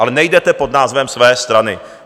Ale nejdete pod názvem své strany.